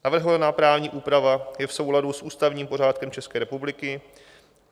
Navrhovaná právní úprava je v souladu s ústavním pořádkem České republiky.